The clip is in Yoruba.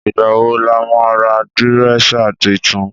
Ìgbà wò là ma rà dìrẹ́sà titun